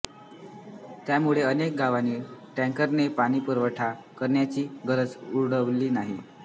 त्यामुळे अनेक गावांना टॅंकरने पाणीपुरवढा करायची गरज उरली नाही